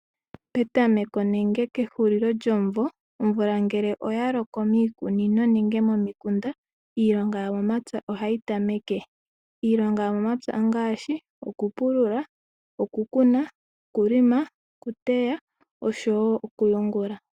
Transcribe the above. Petameko nenge kehulilo lyomumvo omvula ngele oya loko miikunino nenge momikunda iilonga yomomapya ohayi tameke. Iilonga yomomapya ongaashi okupulula, okukuna , okulonga, okuteya oshowo okuyungula.